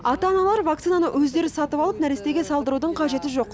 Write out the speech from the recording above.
ата аналар вакцинаны өздері сатып алып нәрестеге салдырудың қажет жоқ